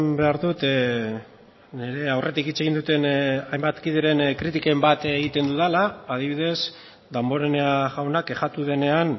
behar dut nire aurretik hitz egin duten hainbat kideren kritikekin bat egiten dudala adibidez damborenea jauna kexatu denean